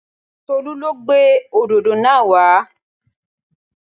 Tolú lo gbé òdòdó náà wa